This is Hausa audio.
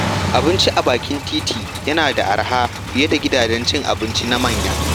Abinci a bakin titi yana da arha fiye da gidajen cin abinci na manya.